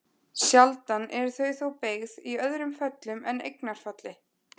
Sjaldan eru þau þó beygð í öðrum föllum en eignarfalli.